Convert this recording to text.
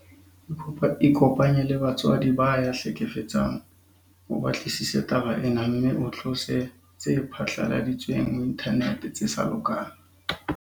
Ikopanye le batswadi ba ya hlekefetsang o batlisise taba ena mme o tlose tse phatlaladitsweng ho inthanete tse sa lokang.